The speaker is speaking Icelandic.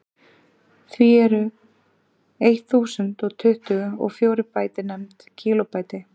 því eru eitt þúsund og tuttugu og fjórir bæti nefnd kílóbæti